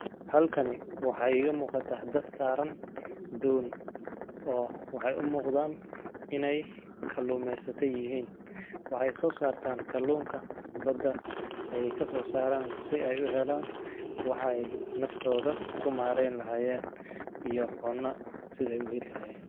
Halkani waxa ayga muuqata hadad saaran doon oo waxay u muuqdaan inay kalluumeysatay yihiin. Waxay soo saartaan kaloonka bada ayay ka soo saaraan si ay u heelaan. Waxa ay naftooda ku maareen lahaayeen iyo cuna sideey uheen lahayn.